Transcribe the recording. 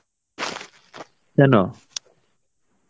কেন?